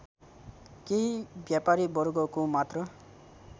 केही व्यापारीवर्गको मात्र